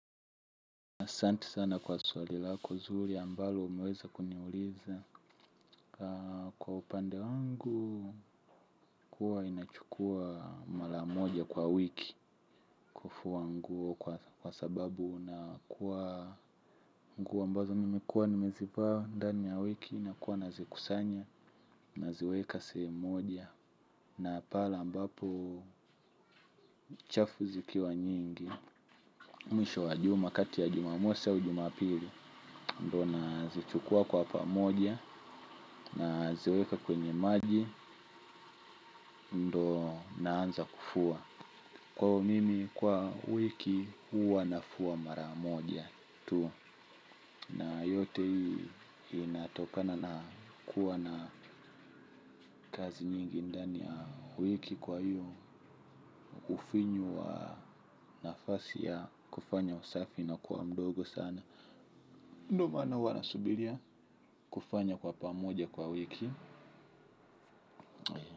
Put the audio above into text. Asante sana kwa swali lako zuri ambalo umeweza kuniuliza. Kwa upande wangu huwa ninachukua mara moja kwa wiki kufua nguo kwa sababu na kuwa mguo mbazo nimekuwa nimezivaa ndani ya wiki na kuwa nazikusanya, naziweka sehemu moja. Na pale ambapo chafu zikiwa nyingi mwisho wajuma kati ya jumamosi au jumapili ndo nazichukua kwa pamoja naziweka kwenye maji. Ndo naanza kufua. Kwaiyo mimi kwa wiki huwa nafua mara moja tu na yote hii inatokana na kuwa na kazi nyingi ndani ya wiki kwa hiyo ufinyu wa nafasi ya kufanya usafi inakua mdogo sana. Ndo mana huwa nasubilia kufanya kwa pamoja kwa wiki.